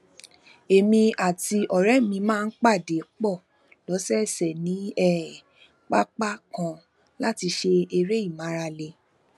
èmi àti òré mi máa ń pàdé pò lósòòsè ní um pápá kan láti ṣe eré ìmárale